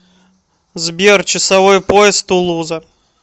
сбер часовой пояс тулуза